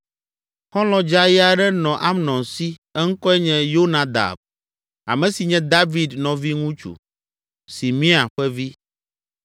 Xɔlɔ̃ dzeaye aɖe nɔ Amnon si; eŋkɔe nye Yonadab, ame si nye David nɔviŋutsu, Simea ƒe vi.